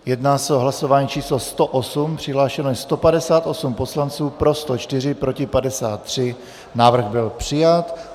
Jedná se o hlasování číslo 108, přihlášeno je 158 poslanců, pro 104, proti 53, návrh byl přijat.